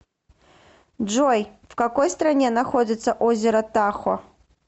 джой в какой стране находится озеро тахо